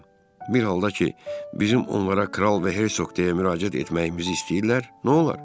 Bir halda ki, bizim onlara kral və hersoq deyə müraciət etməyimizi istəyirlər, nolar?